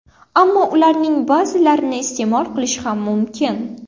Ammo ularning ba’zilarini iste’mol qilish ham mumkin.